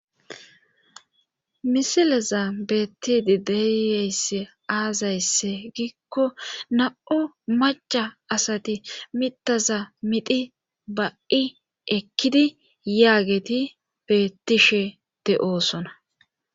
Misileza beettidi deeyeyss aazaysse giikko na'o macca asati mitaza midhi ba'i ekkidi yaageti beettishe de'oosona